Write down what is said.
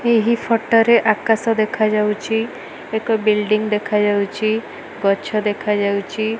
ଏହି ଫଟ ରେ ଆକାଶ ଦେଖା ଯାଉଚି। ଏକ ବିଲ୍ଡିଂ ଦେଖା ଯାଉଚି। ଗଛ ଦେଖା ଯାଉଚି।